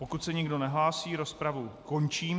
Pokud se nikdo nehlásí, rozpravu končím.